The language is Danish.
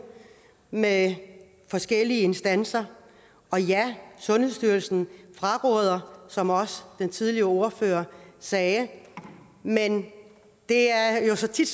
med forskellige instanser og ja sundhedsstyrelsen fraråder som også den tidligere ordfører sagde men det er jo så tit